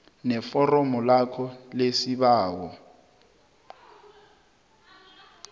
neforomo lakho lesibawo